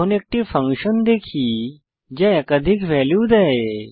এখন একটি ফাংশন দেখি যা একাধিক ভ্যালু দেয়